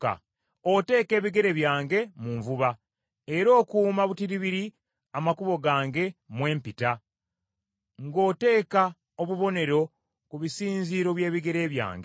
Oteeka ebigere byange mu nvuba, era okuuma butiribiri amakubo gange mwe mpita ng’oteeka obubonero ku bisinziiro by’ebigere byange.